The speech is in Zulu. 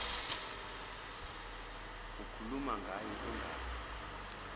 ukhuluma ngaye engazi